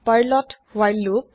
পাৰ্লৰ হোৱাইল লোপ